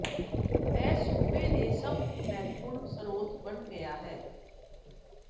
ਇਹ ਸੂਬੇ ਦੇ ਸਭ ਮਹੱਤਵਪੂਰਨ ਸਰੋਤ ਬਣ ਗਿਆ ਹੈ